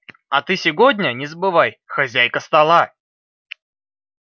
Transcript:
а ты сегодня не забывай хозяйка стола